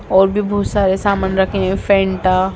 और भी बहोत सारे सामान रखे हैं फैंटा।